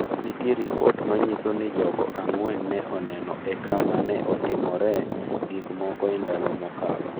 Nitie ripot ma nyiso ni jogo ang’wen ne oneno e kama ne otimoree gik moko e ndalo mokalo.